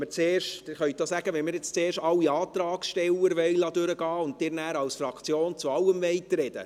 Wenn Sie wollen, dass wir jetzt zuerst alle Antragsteller durchgehen lassen und Sie nachher für die Fraktion zu allem sprechen, können Sie das sagen.